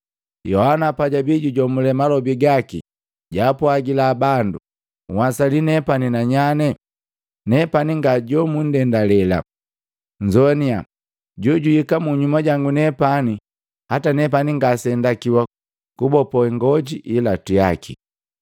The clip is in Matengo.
“Yohana pajabi jujomule malobi gaki jwaapwagila bandu, ‘Nhwasali nepani nanyane? Nepani nga jomundendalela. Nnzoaniya, j ojuhika munyuma jangu nepani hata nepani ngase ndakiwa kubopo ngoji yi ilatu yaki.’